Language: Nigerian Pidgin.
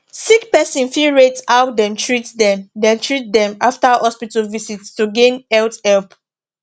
sick person fit rate how dem treat dem dem treat dem after hospital visit to gain health help